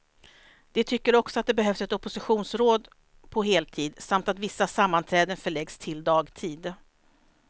De tycker också att det behövs ett oppositionsråd på heltid, samt att vissa sammanträden förläggs till dagtid.